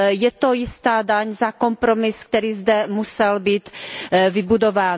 Je to jistá daň za kompromis, který zde musel být vybudován.